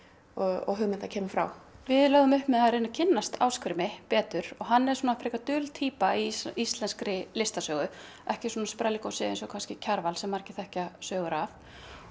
og hugmyndin kemur frá við lögðum upp með að kynnast Ásgrími betur og hann er frekar dul týpa í íslenskri listasögu ekki sprelligosi eins og Kjarval sem margir þekkja sögur af